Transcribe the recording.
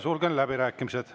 Sulgen läbirääkimised.